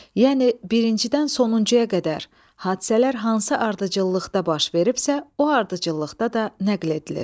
Yəni birincidən sonuncuya qədər hadisələr hansı ardıcıllıqda baş veribsə, o ardıcıllıqda da nəql edilir.